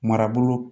Marabolo